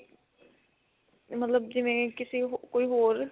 ਮਤਲਬ ਜਿਵੇਂ ਕਿਸੇ ਕੋਈ ਹੋਰ